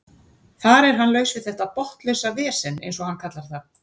Þar er hann laus við þetta botnlausa vesen eins og hann kallar það.